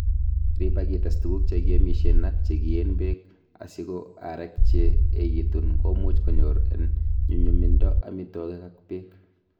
Riib ak itees tuguk che kiomisien ak chekiyeen beek, asi ko aarek che echekitun komuch konyoor en nyumyumindo amitwogik ak beek.